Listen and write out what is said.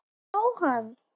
Ég sé hann